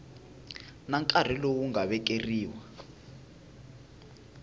na nkarhi lowu nga vekeriwa